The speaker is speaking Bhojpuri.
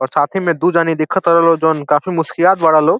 और साथी मे दू जानी दिख तर लो जोन काफी मुसकियात बार लो।